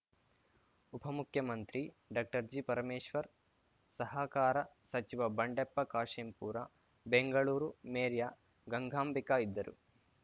ಉಪಮುಖ್ಯಮಂತ್ರಿ ಡಾಕ್ಟರ್ ಜಿಪರಮೇಶ್ವರ್‌ ಸಹಕಾರ ಸಚಿವ ಬಂಡೆಪ್ಪ ಕಾಶೆಂಪೂರ ಬೆಂಗಳೂರು ಮೇರ್ಯಾ ಗಂಗಾಂಬಿಕಾ ಇದ್ದರು